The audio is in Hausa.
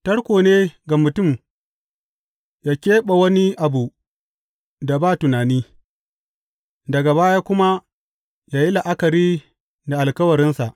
Tarko ne ga mutum ya keɓe wani abu da ba tunani daga baya kuma ya yi la’akari da alkawarinsa.